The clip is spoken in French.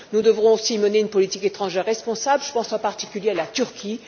Nous devrons aussi mener une politique étrangère responsable, je pense en particulier à la Turquie.